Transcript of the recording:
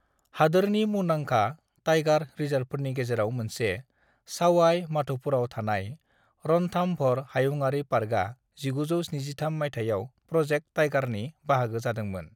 "हादोरनि मुंदांखा टाइगार रिसार्बफोरनि गेजेराव मोनसे, सावाई माध'पुराव थानाय रणथामभर हायुंआरि पार्कआ 1973 मायथाइयाव प्रजेक्ट टाइगारनि बाहागो जादोंमोन।"